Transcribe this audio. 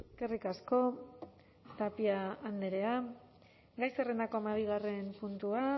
eskerrik asko tapia andrea gai zerrendako hamabigarren puntua